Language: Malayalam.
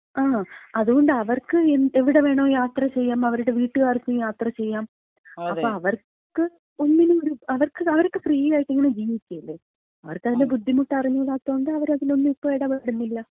ആ അതുകൊണ്ട് അവർക്ക് എവിടെ വേണമങ്കിലും യാത്ര ചെയ്യാം. അവരുടെ വീട്ടുകാർക്കും യാത്ര ചെയ്യാം. അപ്പം അവർക്ക് ഒന്നിനും ഒര്, അവർക്ക് അവരൊക്കെ ഫ്രീയായിട്ട് ഇങ്ങനെ ജീവിക്കല്ലേ, അവർക്കതിന്‍റെ ബുദ്ധിമുട്ട് അറിഞ്ഞൂടാത്തത്കൊണ്ട് അവരതിലൊന്നിലും ഇപ്പം എടപെടുന്നില്ല.